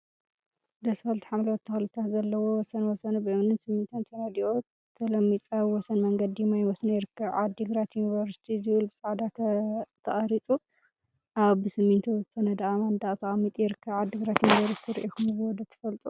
ደስ በሃልቲ ሓምለዎት ተክሊታት ዘለውዎ ወሰን ወሰኑ ብእምኒን ስሚንቶን ተነዲቁ ተለሚፁ አብ ወሰን መንገዲ ማይ መስኖ ይርከብ፡፡ ዓዲ ግራት ዩኒቨርሲቲ ዝብል ብፃዕዳ ተቀሪፁ አብ ብስሚንቶ ዝተነደቀ መንደቅ ተቀሚጡ ይርከብ፡፡ ዓዲ ግራት ዩኒቨርሲቲ ሪኢኩምዎ ዶ ትፈልጡ?